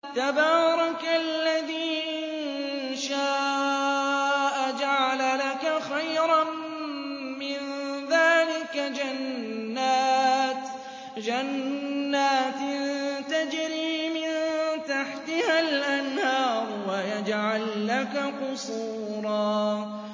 تَبَارَكَ الَّذِي إِن شَاءَ جَعَلَ لَكَ خَيْرًا مِّن ذَٰلِكَ جَنَّاتٍ تَجْرِي مِن تَحْتِهَا الْأَنْهَارُ وَيَجْعَل لَّكَ قُصُورًا